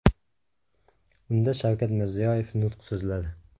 Unda Shavkat Mirziyoyev nutq so‘zladi.